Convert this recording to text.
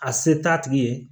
A se t'a tigi ye